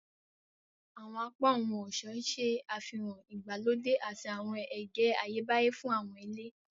Awọn apá ohun-ọṣọ ṣe àfihàn ìgbàlódé àti awọn ẹgẹ Ayebaye fún awọn ile.